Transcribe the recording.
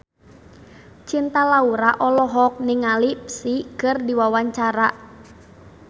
Cinta Laura olohok ningali Psy keur diwawancara